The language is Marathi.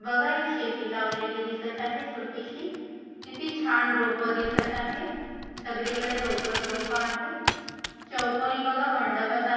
बघा एक शेती लावलेली दिसत आहे छोटीशी किती छान रोप दिसत आहे सगळीकडे रोपच रोप आहे चौकोनी बघा मंडपासारख--